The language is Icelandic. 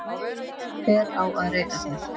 Hver á að reka þær?